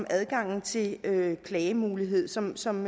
adgangen til klagemulighed som som